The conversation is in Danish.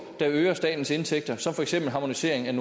der øger statens indtægter som for eksempel harmoniseringen